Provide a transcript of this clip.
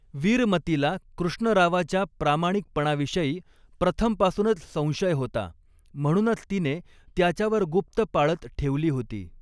वीरमतीला कृष्णरावच्या प्रामाणिकपणाविषयी प्रथमपासूनच संशय होता, म्हणूनच तिने त्याच्यावर गुप्त पाळत ठेवली होती.